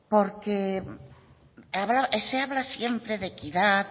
porque se habla siempre de equidad